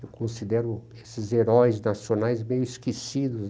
Eu considero esses heróis nacionais meio esquecidos.